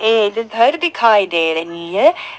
ये जो घर दिखाई दे रही है।